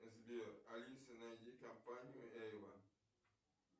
сбер алиса найди компанию эйвон